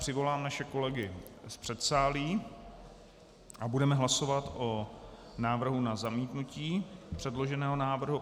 Přivolám naše kolegy z předsálí a budeme hlasovat o návrhu na zamítnutí předloženého návrhu.